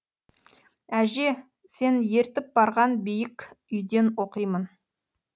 әже сен ертіп барған биік үйден оқимын